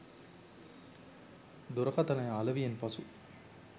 දුරකථනය අලෙවියෙන් පසු